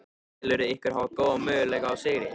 Telurðu ykkur hafa góða möguleika á sigri?